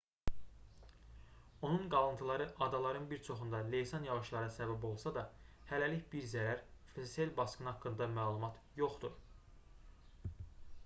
onun qalıntıları adaların bir çoxunda leysan yağışlara səbəb olsa da hələlik bir zərər və sel basqını haqqında məlumat yoxdur